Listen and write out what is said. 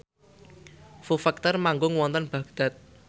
Foo Fighter manggung wonten Baghdad